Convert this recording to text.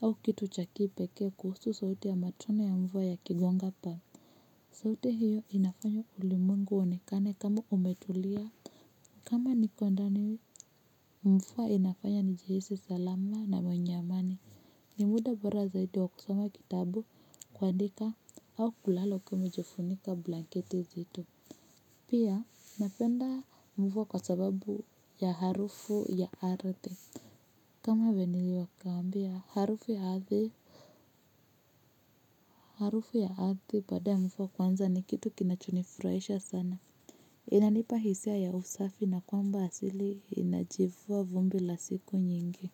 au kitu cha kipekee kuhusu sauti ya matone ya mvua ya kigonga paa. Sauti hiyo inafanya ulimwengu uonekane kama umetulia. Kama niko ndani mvua inafanya nijihisi salama na mwenye amani ni muda bora zaidi wa kusoma kitabu kuandika au kulala ukiwa jifunika blanketi zito. Pia napenda mvua kwa sababu ya harufu ya ardhi. Kama niliwakaambia harufu ya ardhi. Harufu ya ardhi baada ya mvua kuanza ni kitu kinachonifurahisha sana. Inanipa hisia ya usafi na kwamba asili inajivua vumbi la siku nyingi.